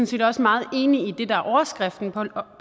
set også meget enig i det der er overskriften på